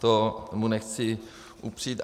To mu nechci upřít.